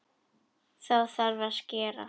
Þá þarf að skera.